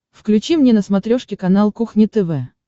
включи мне на смотрешке канал кухня тв